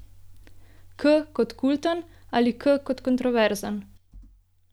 K kot kulten ali K kot kontroverzen?